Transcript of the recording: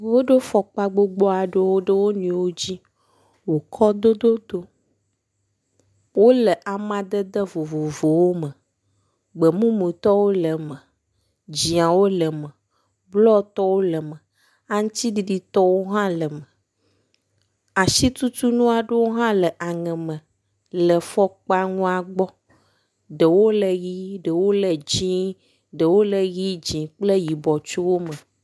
Woɖo fɔkpa gbogbo aɖewo ɖe wo nɔewo dzi wokɔ dododo. Wo le amadede vovovowo me. Gbemumutɔwo le eme. Dziawo le em, blɔtɔwo le eme, aŋtsiɖiɖitɔwo hã le eme. Asitutunu aɖewo hã le aŋeme le fɔkpanua gbɔ. Ɖewo le ʋi ɖewo le dzi, ɖewo le ʋi dzi kplee yiɔ tso wo me.